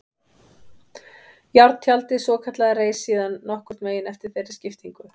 Járntjaldið svokallaða reis síðan nokkurn veginn eftir þeirri skiptingu.